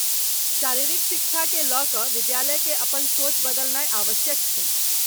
शारीरिक शिक्षाकेँ लऽ कऽ विद्यालयकेँ अपन सोच बदलनाय आवश्यक छै।